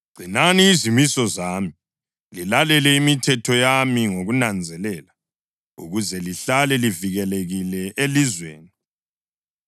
Gcinani izimiso zami, lilalele imithetho yami ngokunanzelela ukuze lihlale livikelekile elizweni.